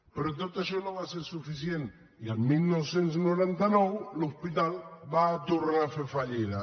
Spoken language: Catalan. però tot això no va ser suficient i el dinou noranta nou l’hospital va tornar a fer fallida